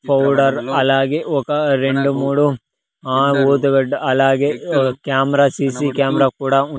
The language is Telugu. పౌడర్ అలాగే ఒక రెండు మూడు ఆ ఓతుగడ్డు అలాగే కెమెరా సి_సి కెమెరా కూడా ఉం --